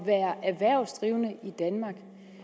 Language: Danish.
være erhvervsdrivende i danmark